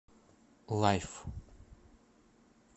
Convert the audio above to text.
лайф